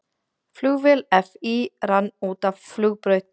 Flugvél FÍ rann út af flugbraut